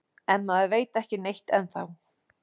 En maður veit ekki neitt ennþá